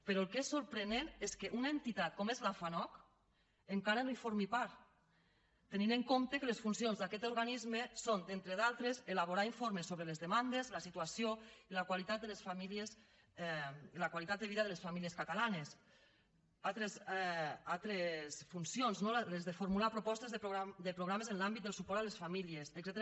però el que és sorprenent és que una entitat com és la fanoc encara no en formi part tenint en compte que les funcions d’aquest organisme són entre d’altres elaborar informes sobre les demandes la situació i la qualitat de vida de les famílies catalanes altres funcions les de formular propostes de programes en l’àmbit de suport a les famílies etcètera